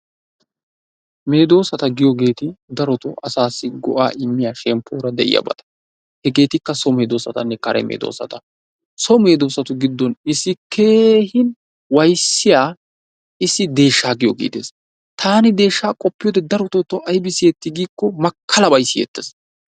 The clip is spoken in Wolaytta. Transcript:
Meedoossata giyoogeeti darotoo asassi go''a immiya shemppoora de'iyaabata. Hegetikka so medoosatanne kare medoosata. So medoosatu giddon issi keehi wayssiyaa issi deeshsha giyooge de'ees. Taani deeshsha qoppiyoode darotoo taw aybi siyyetti gikiko, makkalabay siyyeettees.